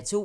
08:30: